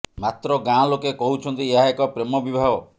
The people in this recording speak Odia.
ମାତ୍ର ଗାଁ ଲୋକେ କହୁଛନ୍ତି ଏହା ଏକ ପ୍ରେମ ବିବାହ